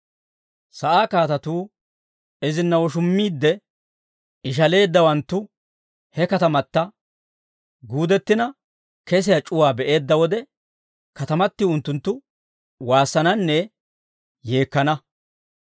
Sa'aa kaatatuu, izina woshummiidde ishaleeddawanttu he katamata guudettina, kesiyaa c'uwaa be'eedda wode, katamatiw unttunttu waassananne yeekkana.